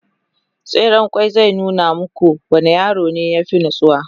tseren ƙwai zai nuna muku wanne yaro ya fi natsuwa